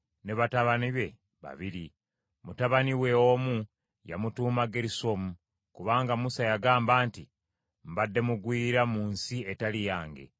ne batabani be babiri. Mutabani we omu yamutuuma Gerusomu, kubanga Musa yagamba nti, “Mbadde mugwira mu nsi etali yange;”